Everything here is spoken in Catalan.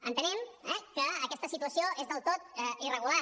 entenem eh que aquesta situació és del tot irregular